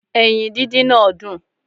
Eyin díndín náà dùn